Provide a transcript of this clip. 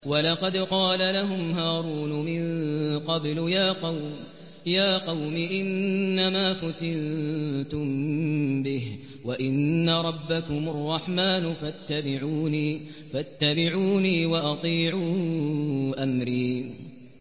وَلَقَدْ قَالَ لَهُمْ هَارُونُ مِن قَبْلُ يَا قَوْمِ إِنَّمَا فُتِنتُم بِهِ ۖ وَإِنَّ رَبَّكُمُ الرَّحْمَٰنُ فَاتَّبِعُونِي وَأَطِيعُوا أَمْرِي